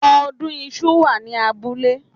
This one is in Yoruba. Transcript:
Ọdún iṣu wà ní abúlé